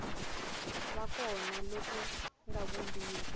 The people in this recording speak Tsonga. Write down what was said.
va kona loku nga vumbiwa